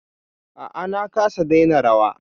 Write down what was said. A'a na kasa daina rawa.